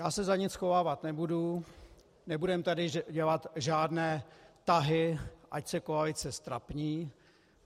Já se za nic schovávat nebudu, nebudeme tady dělat žádné tahy, ať se koalice ztrapní.